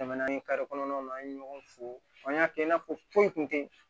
Tɛmɛnan ni kɔnɔnaw na an ye ɲɔgɔn fo an y'a kɛ i n'a fɔ foyi kun tɛ